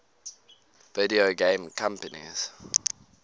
video game companies